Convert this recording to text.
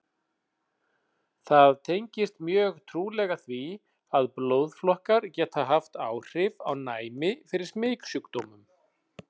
Það tengist mjög trúlega því, að blóðflokkar geta haft áhrif á næmi fyrir smitsjúkdómum.